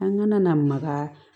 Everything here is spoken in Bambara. An kana na maka